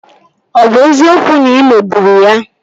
Ọ bụ eziokwu na ị megburu ya?